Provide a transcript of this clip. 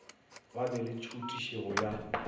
ba be le tšhutišego ya